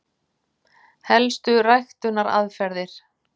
Helstu ræktunaraðferðir: